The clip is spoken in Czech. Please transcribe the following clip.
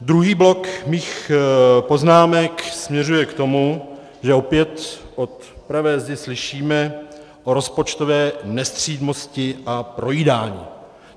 Druhý blok mých poznámek směřuje k tomu, že opět od pravé zdi slyšíme o rozpočtové nestřídmosti a projídání.